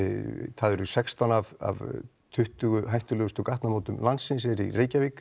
það eru sextán af tuttugu hættulegustu gatnamótum landsins í Reykjavík